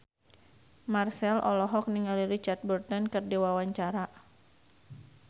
Marchell olohok ningali Richard Burton keur diwawancara